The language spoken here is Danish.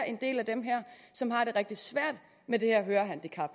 en del af dem her som har det rigtig svært med det her hørehandicap